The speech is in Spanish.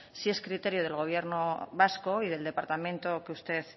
si es criterio del gobierno vasco y del departamento que usted